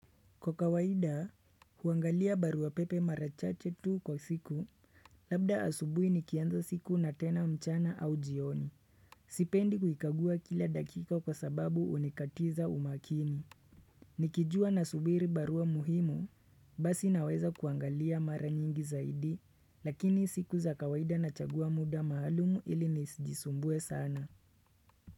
Kwa kawaida, huangalia barua pepe mara chache tu kwa siku, labda asubui nikianza siku na tena mchana au jioni. Sipendi kuikagua kila dakika kwa sababu unikatiza umakini. Nikijua na subiri barua muhimu, basi naweza kuangalia mara nyingi zaidi, lakini siku za kawaida nachagua muda maalumu ili nisijisumbue sana.